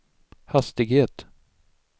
hastighet